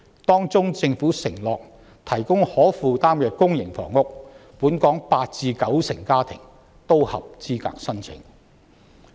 當中政府承諾提供可負擔的公營房屋，本港八至九成家庭均合資格申請。